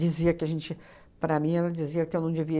Dizia que a gente... Para mim, ela dizia que eu não devia...